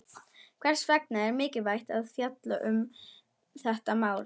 Hvers vegna er mikilvægt að fjalla um þetta mál?